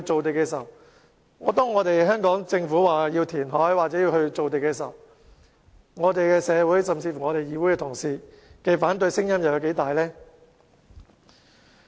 但是，當香港政府說要填海或造地時，社會甚至議會同事的反對聲音又有多大呢？